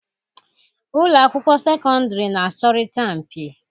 Ụlọ akwụkwọ sekọndịrị na-asọrịta mpi.